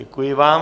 Děkuji vám.